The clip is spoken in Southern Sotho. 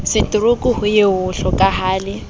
setorouku ho ye ho hlokahale